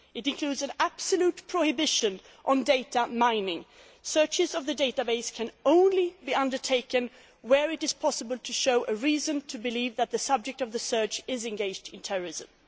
It includes an absolute prohibition on data mining searches of the database can only be undertaken where it is possible to show a reason to believe that the subject of the search is engaged in terrorism.